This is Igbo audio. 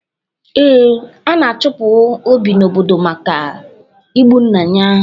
Ee, ana-achụpụ Obi n'obodo maka igbu nna ya.